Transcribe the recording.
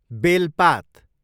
बेलपात